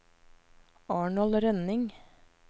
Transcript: Arnold Rønning